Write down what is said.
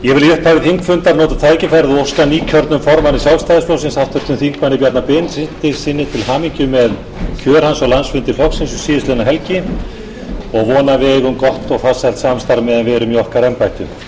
ég vil í upphafi þingfundar nota tækifærið og óska nýkjörnum formanni sjálfstæðisflokksins háttvirts þingmanns bjarna benediktssyni til hamingju með kjör hans á landsfundi flokksins um síðastliðin helgi og vona að við eigum gott og farsælt samstarf meðan við erum í okkar embættum enn fremur vil ég óska